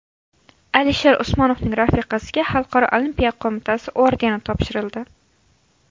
Alisher Usmonovning rafiqasiga Xalqaro olimpiya qo‘mitasi ordeni topshirildi.